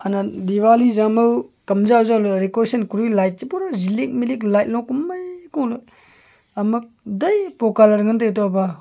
diwali jamaw kamja jawley recotion light che light lo komai koleh ama daipo colour tai toba.